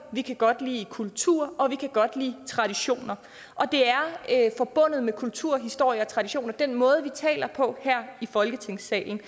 vi kan godt lide kultur og vi kan godt lide traditioner og det er forbundet med kultur historie og traditioner den måde vi taler på her i folketingssalen